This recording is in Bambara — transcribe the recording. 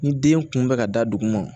Ni den kun bɛ ka da dugu ma